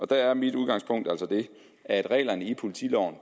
der er mit udgangspunkt altså det at reglerne i politiloven